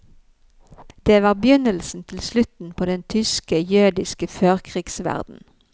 Det var begynnelsen til slutten på den tyske jødiske førkrigsverden.